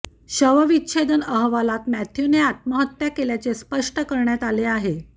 शवविच्छेदन अहवालात मॅथ्यूने आत्महत्या केल्याचे स्पष्ट करण्यात आले आहे